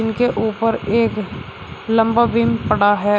इनके ऊपर एक लंबा विम पड़ा है।